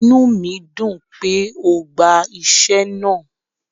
Ìnú mi dùn pé o gba iṣẹ̀ náà